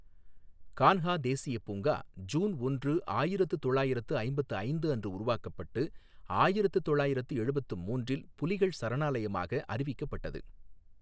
கான்ஹா தேசியப் பூங்கா ஜூன் ஒன்று, ஆயிரத்து தொள்ளாயிரத்து ஐம்பத்து ஐந்து அன்று உருவாக்கப்பட்டு ஆயிரத்து தொள்ளாயிரத்து எழுபத்து மூன்றில் புலிகள் சரணாலயமாக அறிவிக்கப்பட்டது.